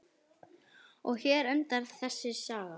Og hér endar þessi saga.